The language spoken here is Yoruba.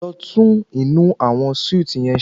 Lọ tún inú àwọn súìtì yẹn ṣe.